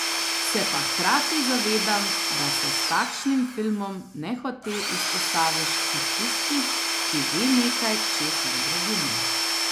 Se pa hkrati zavedam, da se s takšnim filmom nehote izpostaviš kot tisti, ki ve nekaj, česar drugi ne.